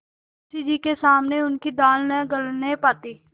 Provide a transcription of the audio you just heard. मुंशी जी के सामने उनकी दाल न गलने पाती